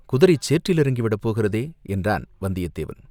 குதிரை சேற்றில் இறங்கி விடப் போகிறதே!" என்றான் வந்தியத்தேவன்.